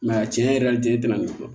tiɲɛ yɛrɛ la n tɛ tɛmɛ nin kɔ